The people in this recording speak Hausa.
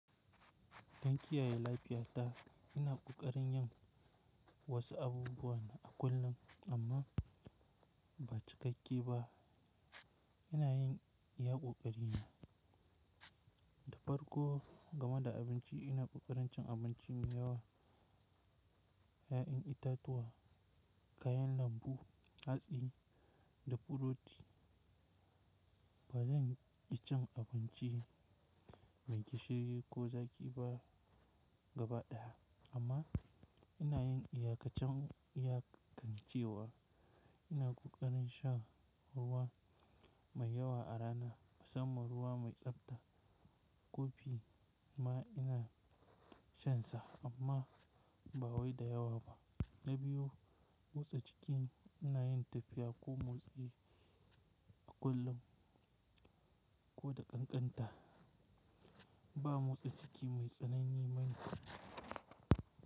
Dan kiyaye lafiyata, ina ƙoƙarin yin wasu abubuwa na a kullum amma ba cikakke ba. Ina yin iya ƙoƙarina. Da farko, game da abinci ina ƙoƙarin cin abinci mai yawa, 'ya'yan itatuwa, kayan lambu, hatsi da burodi. Ba zanci abinci mai gishiri ko zaƙi ba gabaɗaya. Amma ina yin iyakancin iyakancewa. Ina ƙoƙarin shan ruwa mai yawa a rana. Musamman ruwa mai tsabta. Kofi ma ina shansa amma ba wai da yawa ba. Na biyu, motsa jiki ina yin tafiya ko motsi a kullum. Ko da ƙanƙanta. Ba motsa jiki mai tsanani bane.